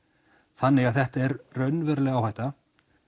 þannig að þetta er raunveruleg áhætta